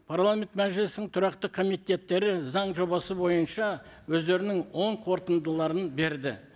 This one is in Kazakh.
парламент мәжілісінің тұрақты комитеттері заң жобасы бойынша өздерінің оң қорытындыларын берді